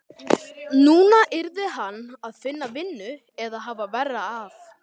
Núna yrði hann að finna vinnu eða hafa verra af.